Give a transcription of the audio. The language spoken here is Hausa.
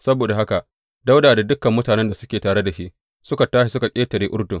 Saboda haka Dawuda da dukan mutanen da suke tare da shi suka tashi suka ƙetare Urdun.